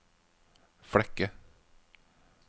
Flekke